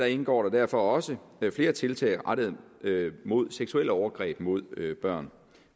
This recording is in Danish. indgår der derfor også flere tiltag rettet mod seksuelle overgreb mod børn